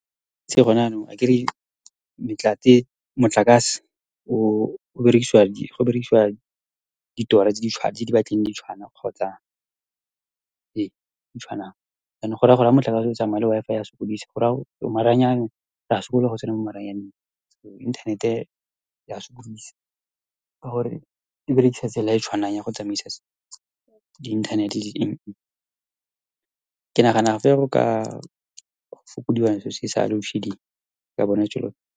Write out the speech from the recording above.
gone jaanong akere motlakase go berekisiwa ditora tse di , tse di batlileng di tshwana kgotsa Ee, tse di tshwanang jaanong goraya gore ha motlakase o tsamaya le Wi-Fi ya sokodisa , maranyane re a sokola go tsena mo maranyaneng, so inthanete ya sokodisa ka gore e berekisa tsela e e tshwanang ya go tsamaisa di-inthanete, ke nagana gape go ka fokodiwa selo se sa loadshedding, re ka bona .